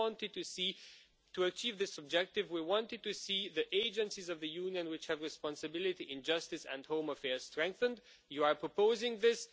To achieve this objective, we wanted to see the agencies of the Union which have responsibility for justice and home affairs strengthened you are proposing this.